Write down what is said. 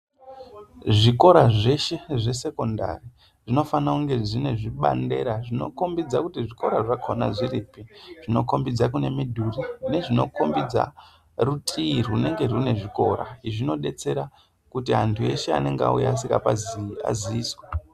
Zvikora zveshe zvesekondari zvinofana kunge zvine zvibandera zvinokombidza kuti zvikora zvakhona zviripi zvinokombidza kunenge kune midhuri nezvinokombidza rutii runenge rinezvikora zvinodetsera kuti antu eshe anenge auya asingapazii aziiswe.